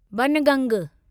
बनगंग